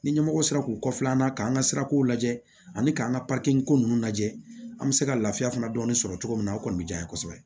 Ni ɲɛmɔgɔ sera k'u kɔfilan an na k'an ka sirakow lajɛ ani k'an ka ko nunnu lajɛ an bɛ se ka lafiya fana dɔɔni sɔrɔ cogo min na o kɔni bɛ diyan ye kosɛbɛ